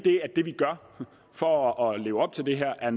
det vi gør for at leve op til det her